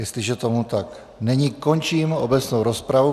Jestliže tomu tak není, končím obecnou rozpravu.